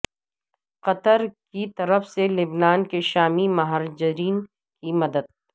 قطر کی طرف سے لبنان کے شامی مہاجرین کی مدد